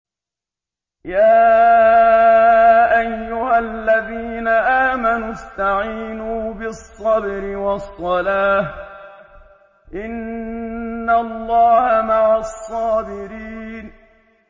يَا أَيُّهَا الَّذِينَ آمَنُوا اسْتَعِينُوا بِالصَّبْرِ وَالصَّلَاةِ ۚ إِنَّ اللَّهَ مَعَ الصَّابِرِينَ